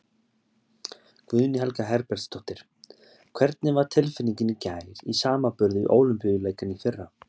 Guðný Helga Herbertsdóttir: Hvernig var tilfinningin í gær í samanburði við Ólympíuleikana í fyrra?